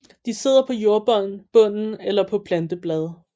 De sidder på jordbunden eller på planteblade